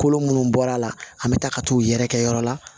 Kolo minnu bɔra a la an bɛ taa ka t'u yɛrɛkɛ yɔrɔ la